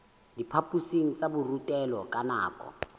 diphaphosing tsa borutelo ka nako